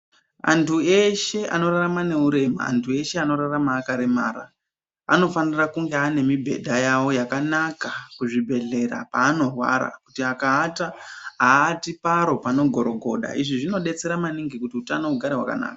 Antu eshe anorarama neurema antu eshe anorarama akaremara anofana kunge ane ndau yawo yakanaka muzvibhedhlera panorwara kuti akaata aati paro pano gorogoda izvi zvinodetsera maningi kuti hutano hugare hwakanaka.